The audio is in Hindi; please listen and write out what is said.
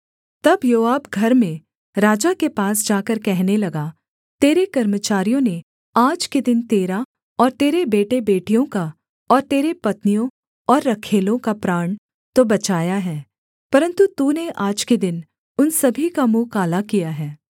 तब योआब घर में राजा के पास जाकर कहने लगा तेरे कर्मचारियों ने आज के दिन तेरा और तेरे बेटेबेटियों का और तेरी पत्नियों और रखैलों का प्राण तो बचाया है परन्तु तूने आज के दिन उन सभी का मुँह काला किया है